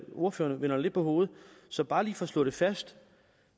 ordførerne vender det lidt på hovedet så bare lige for at slå det fast